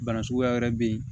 Bana suguya wɛrɛ bɛ yen